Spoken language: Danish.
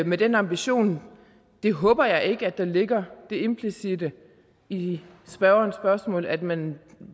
med den ambition jeg håber ikke at der ligger det implicitte i spørgerens spørgsmål at man